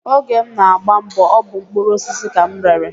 Oge m na-agba mbọ, ọ bụ mkpụrụosisi ka m rere